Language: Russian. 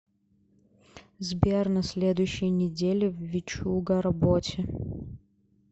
сбер на следующей неделе в вичуга работе